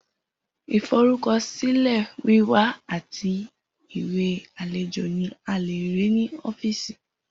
Iforukọsilẹ wiwa ati iwe alejo ni a le rii ni ọfiisi.